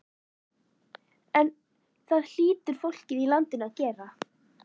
En það hlýtur fólkið í landinu að gera.